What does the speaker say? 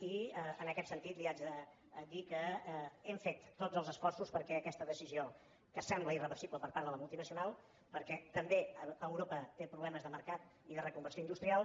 i en aquest sentit li haig de dir que hem fet tots els esforços perquè aquesta decisió que sembla irreversible per part de la multinacional perquè també a europa té problemes de mercat i de reconversió industrial